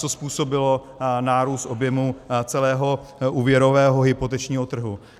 Co způsobilo nárůst objemu celého úvěrového hypotečního trhu?